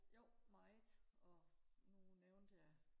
jo meget og nu nævnte jeg